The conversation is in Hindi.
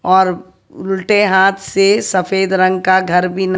और उलटे हाथ से सफेद रंग का घर भी न